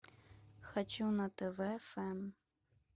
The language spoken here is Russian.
хочу на тв фэн